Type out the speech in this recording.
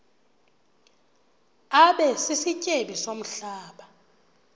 abe sisityebi somhlaba